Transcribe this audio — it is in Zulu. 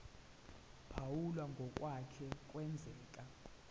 phawula ngokwake kwenzeka